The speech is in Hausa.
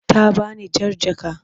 Ta bani jar jaka.